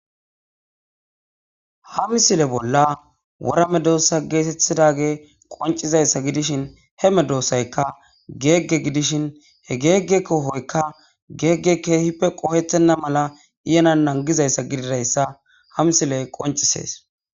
Ha misilezale bolla wora medossa gettetidayisi qoncida gidishini, he medosayikka gegge gidishini, geggeyi kohoyikka geggeyi kehipe qohetena mala iyana nangizayisa gididayisa ha musileyi qoncises